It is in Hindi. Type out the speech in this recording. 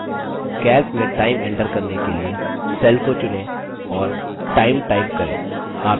calc में time एन्टर करने के लिए cell को चुनें और time time करें